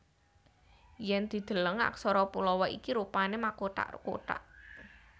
Yèn dideleng aksara Pallawa iki rupané makothak kothak